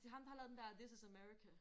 Det ham der har lavet den der this is America